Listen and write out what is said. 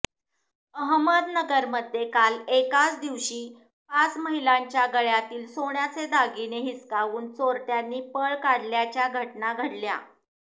अहमदनगरमध्ये काल एकाच दिवशी पाच महिलांच्या गळ्यातील सोन्याचे दागिने हिसकावून चोरट्यांनी पळ काढल्याच्या घटना घडल्या